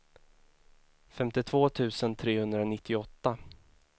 femtiotvå tusen trehundranittioåtta